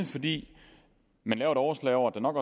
fordi man laver et overslag over at der nok